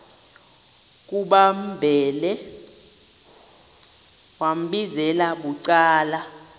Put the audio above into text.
kumambhele wambizela bucala